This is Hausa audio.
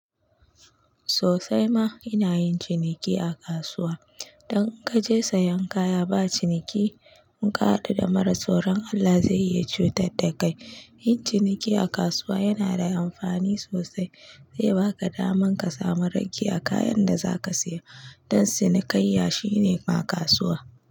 Sosai ma ina yin ciniki a kasuwa. Dan in ka je sayan kaya ba ciniki, in ka haɗu da mara tsoron Allah zai yi cutar da kai. Yin ciniki a kasuwa yana da amfani zai baka damar ka sami ragiya kayan da zaka saya. Ɗan cinikayya shine ma kasuwa.